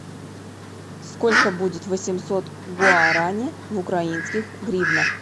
сколько будет восемьсот гуарани в украинских гривнах